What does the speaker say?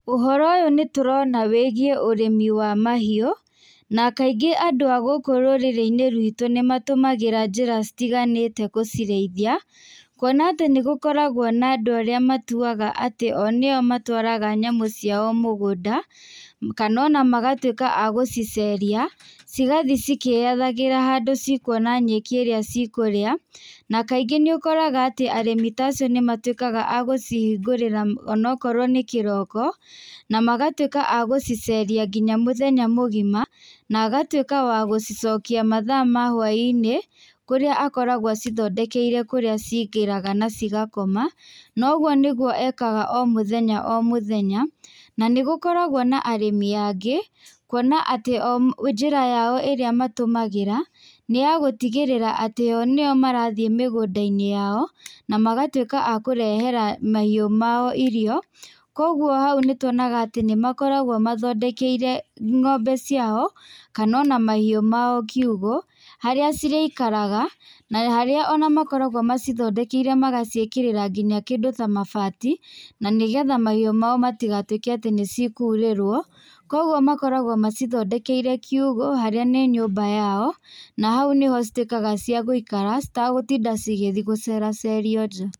Ũhoro ũyũ nĩ tũrona wĩgiĩ ũrĩmi wa mahiũ, na kaingĩ andũ agũkũ rũrĩrĩ-inĩ rwitũ nĩ matũmagĩra njĩra citiganĩte gũcirĩithia. Kwona atĩ nĩ gũkoragwo andũ arĩa matuaga atĩ o nĩo matwaraga nyamũ ciao mũgũnda, kana ona magatuĩka a gũciceria, cigathi cikĩyethagĩra handũ cikuona nyeki ĩrĩa cikũrĩa, na kaingĩ nĩ ũkoraga arĩmi tacio nĩ matuĩkaga a gũcihingũrĩra onakorwo nĩ kĩroko, na magatuĩka a gũciceria nginya mũthenya mũgima, na agatuĩka a gũcicokia mathaa ma hwainĩ, kũrĩa akoragwo acithondekeire kũrĩa cingĩraga na cigakoma, noguo nĩguo ekaga o mũthenya o mũthenya. Na nĩ gũkoragwo na arĩmi angĩ, kwona atĩ o njĩra yao ĩrĩa matũmagĩra, nĩ yagũtigĩrĩra atĩ o nĩo marathiĩ mĩgũnda-inĩ yao, na magatuĩka a kũrehera mahiũ mao irio, koguo hau nĩtuonaga nĩ makoragwo mathondekeire ng'ombe ciao, kana ona mahiũ mao kiugũ, harĩa cirĩikaraga, na haria ona makoragwo macithondekeire magaciĩkĩrĩra nginya kĩndũ ta mabati, na nĩgetha mahiũ mao matigatuĩke atĩ nĩ cikurĩrwo. Koguo makoragwo macithondekeire kiugũ, harĩa nĩ nyũmba yao, na hau nĩho cituĩkaga cia gũikara, citagũtinda cigĩthiĩ gũceracerio nja.